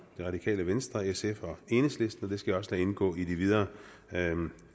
det radikale venstre sf og enhedslisten og det skal jeg også lade indgå i de videre